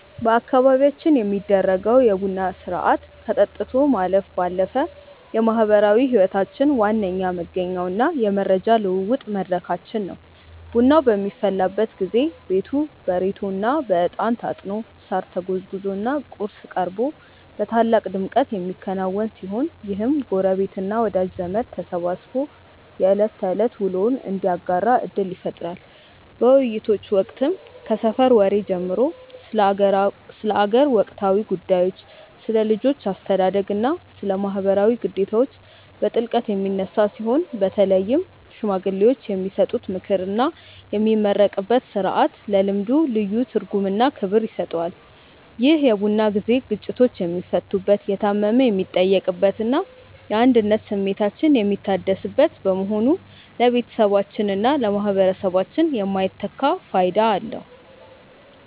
በአካባቢያችን የሚደረገው የቡና ሥርዓት ከጠጥቶ ማለፍ ባለፈ የማኅበራዊ ሕይወታችን ዋነኛ መገኛውና የመረጃ ልውውጥ መድረካችን ነው። ቡናው በሚፈላበት ጊዜ ቤቱ በሬቶና በዕጣን ታጥኖ፣ ሳር ተጎዝጉዞና ቁርስ ቀርቦ በታላቅ ድምቀት የሚከናወን ሲሆን፣ ይህም ጎረቤትና ወዳጅ ዘመድ ተሰባስቦ የዕለት ተዕለት ውሎውን እንዲያጋራ ዕድል ይፈጥራል። በውይይቶች ወቅትም ከሰፈር ወሬ ጀምሮ ስለ አገር ወቅታዊ ጉዳዮች፣ ስለ ልጆች አስተዳደግና ስለ ማኅበራዊ ግዴታዎች በጥልቀት የሚነሳ ሲሆን፣ በተለይም ሽማግሌዎች የሚሰጡት ምክርና የሚመረቅበት ሥርዓት ለልምዱ ልዩ ትርጉምና ክብር ይሰጠዋል። ይህ የቡና ጊዜ ግጭቶች የሚፈቱበት፣ የታመመ የሚጠየቅበትና የአንድነት ስሜታችን የሚታደስበት በመሆኑ ለቤተሰባችንና ለማኅበረሰባችን የማይተካ ፋይዳ አለው።